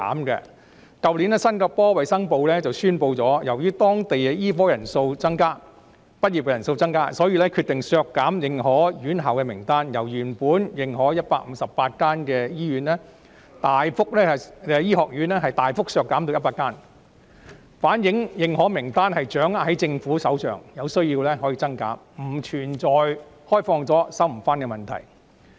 去年新加坡衞生部宣布，由於當地醫科畢業生人數增加，所以決定削減認可院校的名單，由原本認可的158間醫學院，大幅削減至100間，反映認可名單掌握在政府手上，有需要可以增減，不存在擴展後便無法收回的問題。